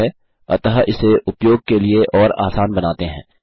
ठीक है अतः इसे उपयोग के लिए और आसान बनाते हैं